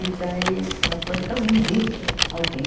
E daí ela falou, então indique alguém.